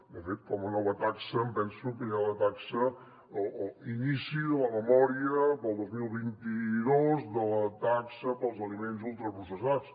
de fet com a nova taxa em penso que hi ha la taxa o l’inici de la memòria per al dos mil vint dos de la taxa per als aliments ultraprocessats